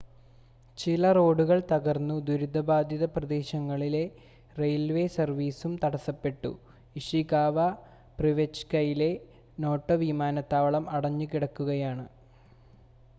ചില റോഡുകൾ തകർന്നു ദുരിതബാധിത പ്രദേശങ്ങളിൽ റെയിൽവേ സർവീസും തടസപ്പെട്ടു ഇഷികാവ പ്രിഫെക്ചറിലെ നോട്ടോ വിമാനത്താവളം അടടഞ്ഞുകിടക്കുകയാണ്